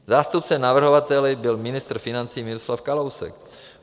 Zástupcem navrhovatele byl ministr financí Miroslav Kalousek.